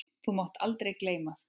Þú mátt aldrei gleyma því.